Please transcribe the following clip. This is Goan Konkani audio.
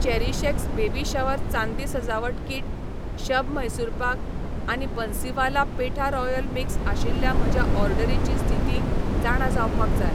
चेरीशएक्स बेबी शावर चांदी सजावट किट, शब म्हैसूर पाक आनी बन्सीवाला पेठा रॉयल मिक्स आशिल्ल्या म्हज्या ऑर्डरीची स्थिती जाणा जावपाक जाय